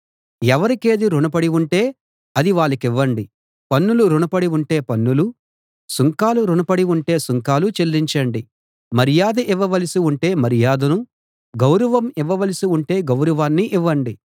ఎవరికేది రుణ పడి ఉంటే అది వాళ్ళకివ్వండి పన్నులు రుణపడి ఉంటే పన్నులు సుంకాలు రుణ పడి ఉంటే సుంకాలు చెల్లించండి మర్యాద ఇవ్వవలసి ఉంటే మర్యాదను గౌరవం ఇవ్వవలసి ఉంటే గౌరవాన్ని ఇవ్వండి